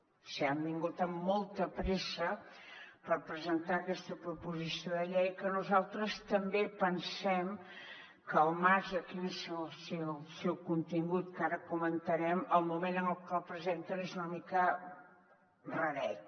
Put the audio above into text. o sigui han vingut amb molta pressa per presentar aquesta proposició de llei que nosaltres també pensem que al marge de quin és el seu contingut que ara comentarem el moment en el que el presenten és una mica raret